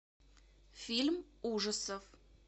фильм ужасов